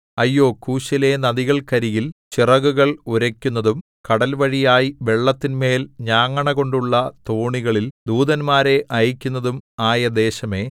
അയ്യോ കൂശിലെ നദികൾക്കരികിൽ ചിറകുകൾ ഉരയ്ക്കുന്നതും കടൽവഴിയായി വെള്ളത്തിന്മേൽ ഞാങ്ങണകൊണ്ടുള്ള തോണികളിൽ ദൂതന്മാരെ അയയ്ക്കുന്നതും ആയദേശമേ